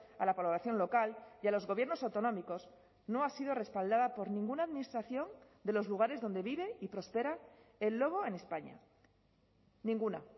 a la población local y a los gobiernos autonómicos no ha sido respaldada por ninguna administración de los lugares donde vive y próspera el lobo en españa ninguna